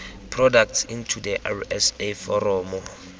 products into the rsa foromo